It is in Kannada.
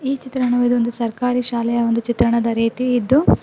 ಈ ಚಿತ್ರಣವು ಇದೊಂದು ಸರ್ಕಾರಿ ಶಾಲೆಯ ಒಂದು ಚಿತ್ರಣದ ರೀತಿ ಇದ್ದು--